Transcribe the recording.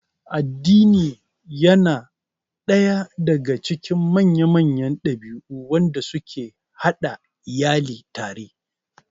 Addini yana daya daga cikin manya-manyan dabi'u wadanda suke hada iyali tare